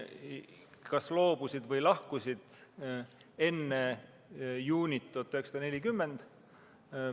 Nad kas loobusid või lahkusid enne juunit 1940.